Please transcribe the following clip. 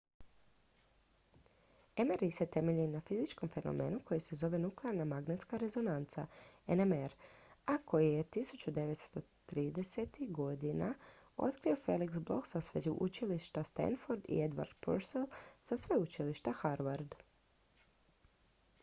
mri se temelji na fizičkom fenomenu koji se zove nuklearna magnetska rezonanca nmr a koji je 1930-ih godina otkrio felix bloch sa sveučilišta stanford i edward purcell sa sveučilišta harvard